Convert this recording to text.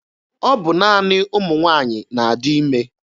Ọ bụ naanị ụmụ nwaanyị na-adị ime.